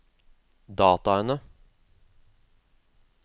dataene